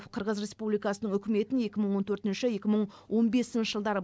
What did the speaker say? қырғыз республикасының үкіметін екі мың он төртінші екі мың он бесінші жылдары